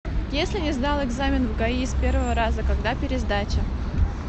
если не сдал экзамен в гаи с первого раза когда пересдача